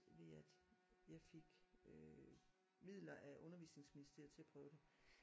Ved at jeg fik øh midler af undervisningsministeriet til at prøve det